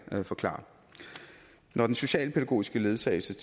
forklare når den socialpædagogiske ledsagelse